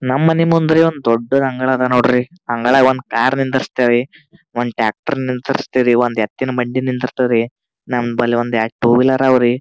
ನಮ್ ಮನಿ ಮುಂದ್ರಿ ಒಂದು ದೊಡ್ಡದ ಅಂಗಳ ಅದ ನೋಡ್ರಿ ಅಂಗಳಾಗ ಒಂದ್ ಕಾರ್ ನಿಂದಿರಿಸ್ತಿವಿ ಒಂದ್ ಟ್ರ್ಯಾಕ್ಟರ್ ನಿಂದ್ರಿಸ್ತಿವಿ ಒಂದ್ ಎತ್ತಿನ ಬಂಡಿ ನಿಂದಿರಿಸ್ತಿವಿ ರೀ ನಮ್ಮಲ್ ಒಂದ್ ಎರಡ್ ಟೂ‌ ವಿಲ್ಹರ್ ಅವರಿ.